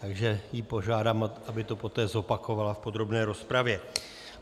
Takže ji požádám, aby to poté zopakovala v podrobné rozpravě.